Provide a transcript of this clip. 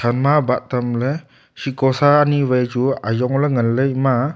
shekosa ani wai chu ajong ley ngan ley ema a.